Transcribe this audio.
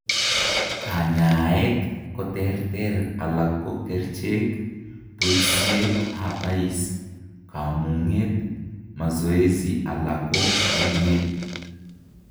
Kanyaeet koterter alak ko kercheek, bosiet ab ice, komuunyet, masoesi alako enyeet